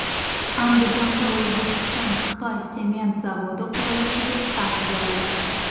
Andijonda O‘zbekiston-Xitoy sement zavodi qurilishiga start berildi.